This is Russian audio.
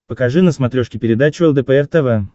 покажи на смотрешке передачу лдпр тв